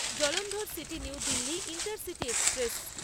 জলন্ধরসিটি New Delhi intercity express